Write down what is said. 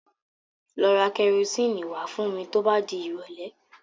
Lọ ra kẹrosíìnì wá fún mi tó bá dìrọ̀lẹ́.